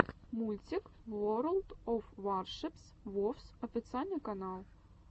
мультик ворлд оф варшипс вовс официальный канал